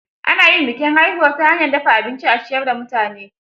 Ana yin bikin haihuwar ta hanyar dafa abinci a ciyar da mutane.